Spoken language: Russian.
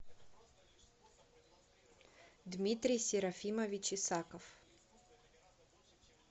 дмитрий серафимович исаков